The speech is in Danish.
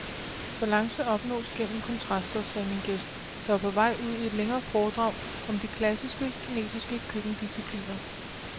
Balance opnås gennem kontraster, sagde min gæst, der var på vej ud i et længere foredrag om de klassiske kinesiske køkkendiscipliner.